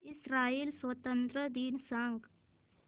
Israel स्वातंत्र्य दिन सांग